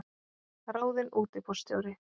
Ráðinn útibússtjóri